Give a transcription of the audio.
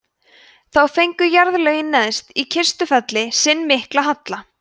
þá fengu jarðlögin neðst í kistufelli sinn mikla halla